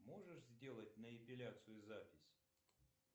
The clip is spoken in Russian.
можешь сделать на эпиляцию запись